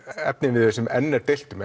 efniviður sem enn er deilt um